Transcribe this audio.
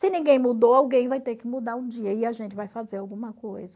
Se ninguém mudou, alguém vai ter que mudar um dia e a gente vai fazer alguma coisa.